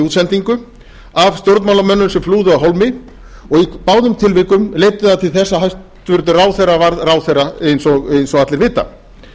útsendingu af stjórnmálamönnum sem flúðu af hólmi og í báðum tilvikum leiddi það til þess að hæstvirtur ráðherra varð ráðherra eins og allir vita